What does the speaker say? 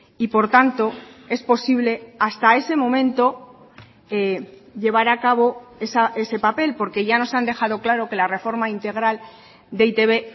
y por tanto es posible hasta ese momento llevar a cabo ese papel porque ya nos han dejado claro que la reforma integral de e i te be